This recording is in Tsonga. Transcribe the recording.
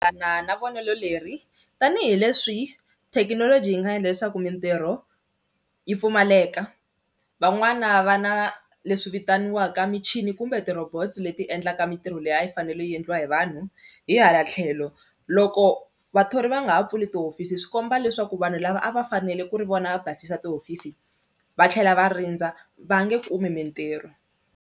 Na na vonelo leri tanihileswi thekinoloji yi nga endla leswaku mintirho yi pfumaleka van'wana va na leswi vitaniwaka michini kumbe ti-robots leti endlaka mintirho leyi a yi fanele yi endliwa hi vanhu, hi hala tlhelo loko vathori va nga ha pfuli tihofisi swi komba leswaku vanhu lava a va fanele ku ri vona va basisa tihofisi va tlhela va rindza va nge kumi mintirho.